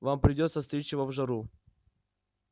вам придётся стричь его в жару